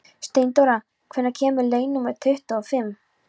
Steindóra, hvenær kemur leið númer tuttugu og fimm?